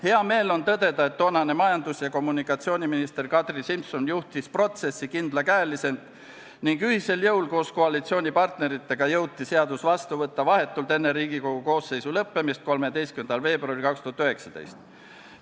Hea meel on tõdeda, et toonane majandus- ja kommunikatsiooniminister Kadri Simson juhtis protsessi kindlakäeliselt ning ühisel jõul koos koalitsioonipartneritega jõuti seadus vastu võtta vahetult enne Riigikogu koosseisu volituste lõppemist 13. veebruaril 2019.